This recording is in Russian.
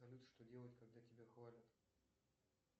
салют что делать когда тебя хвалят